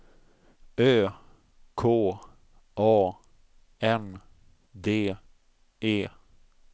Ö K A N D E